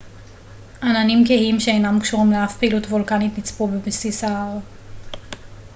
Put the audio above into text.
עננים כהים שאינם קשורים לאף פעילות וולקנית נצפו בבסיס ההר